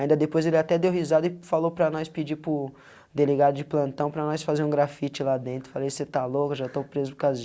Ainda depois ele até deu risada e falou para nós pedir para o delegado de plantão para nós fazer um grafite lá dentro, falei, você tá louco, já estou preso por causa